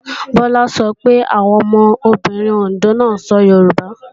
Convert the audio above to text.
Bọlá sọ pé àwọn ọmọbìnrin Òndó náà sọ Yorùbá